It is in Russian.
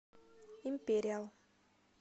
империал